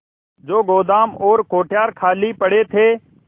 जो गोदाम और कोठार खाली पड़े थे